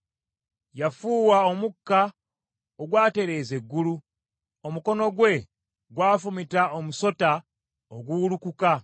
Yafuuwa omukka ogwatereeza eggulu, omukono gwe gwafumita omusota oguwulukuka.